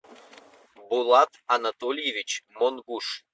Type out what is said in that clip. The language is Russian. булат анатольевич монгуш